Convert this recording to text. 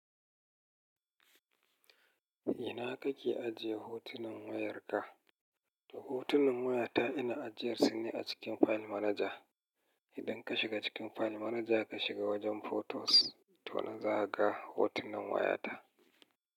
Ina kake ajiye hotunan wayarka? Hotunan wayata ina ajiyarsu ne a cikin file manager. Idan ka shiga cikin file manager ka shiga wajen photos to nan za ka ga hotunan wayata.